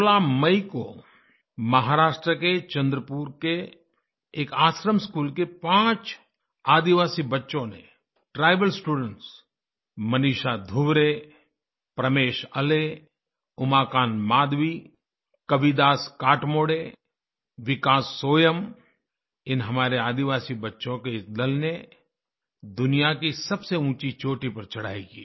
16 मई को महाराष्ट्र के चंद्रपुर के एक आश्रमस्कूल के 5 आदिवासी बच्चों ने ट्राइबल स्टूडेंट्स मनीषा धुर्वे प्रमेश आले उमाकान्त मडवी कविदास कातमोड़े विकास सोयाम इन हमारे आदिवासी बच्चों के एक दल ने दुनिया की सबसे ऊँची चोटी पर चढ़ाई की